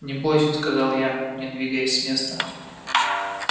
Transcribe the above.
не бойся сказал я не двигаясь с места